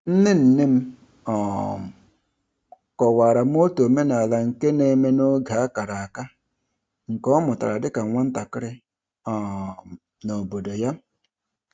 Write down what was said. Nne nne m um kọwara m otu omenala nke na-eme n'oge a kara aka, nke ọ mụtara dịka nwatakịrị um n'obodo ya.